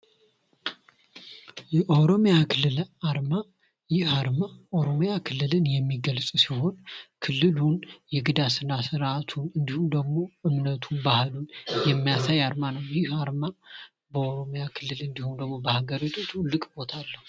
የኦሮሚያ ክልል አርማ ይህ አርማ ኦሮሚያ ክልል የሚገልጽ ሲሆን ክልሉን የግዳ ስነስርአቱ እንዲሁም ደግሞ እምነቱ ባህሉ የሚያሳይ አርማ ነው። ይህ አርማ በኦሮሚያ ክልል እንዲሁም በሀገሪቱ ትልቅ ቦታ አለው።